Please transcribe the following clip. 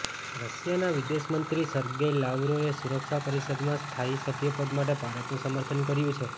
રશિયાના વિદેશમંત્રી સર્ગેઈ લાવરોવે સુરક્ષા પરિષદમાં સ્થાયી સભ્ય પદ માટે ભારતનું સમર્થન કર્યું છે